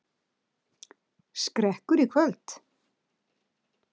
Skrekkur í kvöld